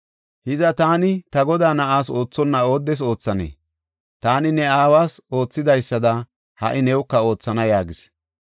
Hiza taani ta godaa na7aas oothonna ooddes oothanee? Taani ne aawas oothidaysada ha77i newuka oothana” yaagis.